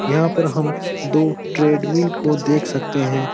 यहाँ पर हम दो ट्रेडमिल को देख सकते हैं।